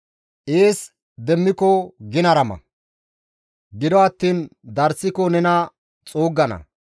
Ees demmiko ginara ma; gido attiin darssiko nena xuuggana.